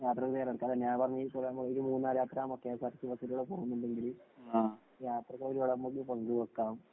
യാത്രയ്ക്ക് തയ്യാറെടുക്കാം. ഞാന്‍ പറഞ്ഞെ മൂന്നാര്‍ യാത്ര കെഎസ് ആര്‍ ടി സി ബസ്സില്‍ പോകുന്നുണ്ടെങ്കില്‍ യാത്രകള്‍ ഒരുപാട് നമുക്ക് പങ്ക് വയ്ക്കാം.